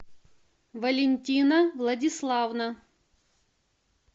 валентина владиславовна